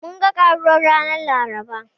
Mun ga Karuwar ranar Laraba.